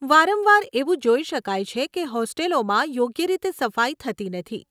વારંવાર એવું જોઈ શકાય છે કે હોસ્ટેલોમાં યોગ્ય રીતે સફાઈ થતી નથી.